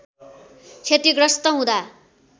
क्षतिग्रस्त हुँदा